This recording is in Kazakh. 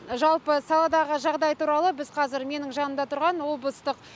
жалпы саладағы жағдай туралы біз қазір менің жанымда тұрған облыстық